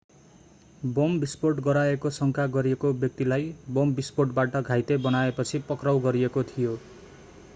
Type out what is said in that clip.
bomb विस्फोट गराएको शंका गरिएको व्यक्तिलाई बम विष्फोटबाट घाइते बनाएपछि पक्राउ गरिएको थियो